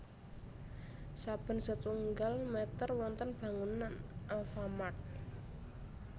Saben setunggal meter wonten bangunan Alfamart